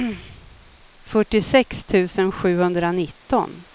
fyrtiosex tusen sjuhundranitton